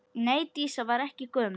Nei, Dísa var ekki gömul.